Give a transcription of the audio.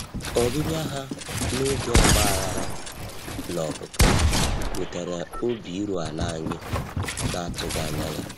Ọbịbịa ha n'oge ọgbaghara na opupu wetara obi iru ala anyị na-atụghị anya ya.